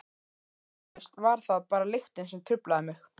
Eflaust var það bara lyktin sem truflaði mig.